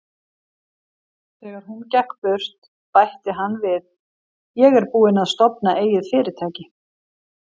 Þegar hún gekk burt, bætti hann við: Ég er búinn að stofna eigið fyrirtæki.